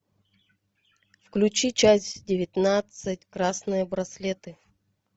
включи часть девятнадцать красные браслеты